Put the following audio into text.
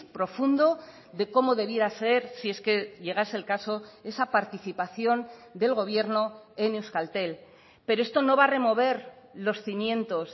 profundo de cómo debiera ser si es que llegase el caso esa participación del gobierno en euskaltel pero esto no va a remover los cimientos